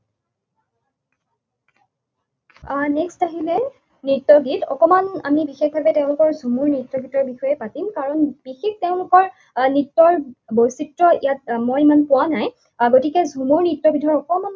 আহ Next আহিলে নৃত্য গীত। অকণমান আমি বিশেষভাৱে তেওঁলোকৰ ঝুমুৰ নৃত্য গীতৰ বিষয়ে পাতিম। কাৰণ বিশেষ তেওঁলোকৰ নৃত্যৰ বৈচিত্ৰ্য ইয়াত মই ইমান পোৱা নাই। গতিকে ঝুমুৰ নৃত্যবিধৰ অকণমান